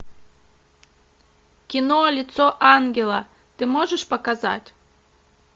кино лицо ангела ты можешь показать